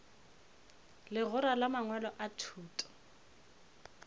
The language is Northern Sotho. legora la mangwalo a thuto